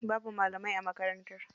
Babu malamai a makarantar.